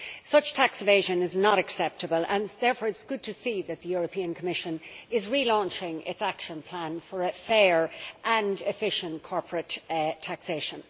Such tax evasion is not acceptable, and therefore it is good to see that the Commission is relaunching its action plan for fair and efficient corporate taxation.